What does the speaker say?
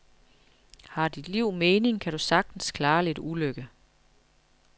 Har dit liv mening, kan du sagtens klare lidt ulykke.